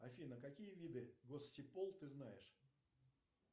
афина какие виды госсипол ты знаешь